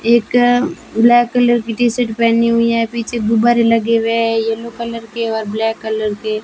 एक black colour की T-shirt पेहनी हुई है पीछे गुब्बारे लगे हुए हैं येलो कलर के और ब्लैक कलर के।